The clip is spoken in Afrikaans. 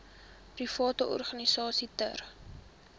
private organisasies ter